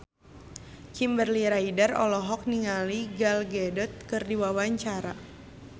Kimberly Ryder olohok ningali Gal Gadot keur diwawancara